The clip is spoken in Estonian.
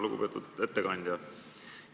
Lugupeetud ettekandja!